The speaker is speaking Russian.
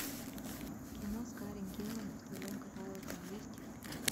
кино с карен гиллан в твоем каталоге есть